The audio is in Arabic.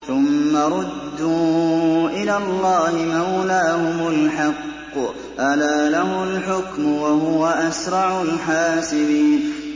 ثُمَّ رُدُّوا إِلَى اللَّهِ مَوْلَاهُمُ الْحَقِّ ۚ أَلَا لَهُ الْحُكْمُ وَهُوَ أَسْرَعُ الْحَاسِبِينَ